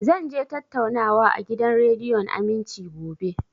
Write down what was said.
Zan je tattaunawa a gidan rediyon Aminci, gobe